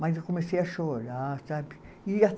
Mas eu comecei a chorar, sabe? E